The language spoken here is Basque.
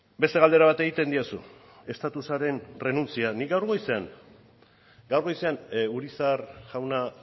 beste galdera bat egiten didazu estatusaren errenuntzia nik gaur goizean urizar jauna